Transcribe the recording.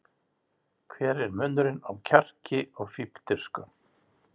Hver er munurinn á kjarki og fífldirfsku?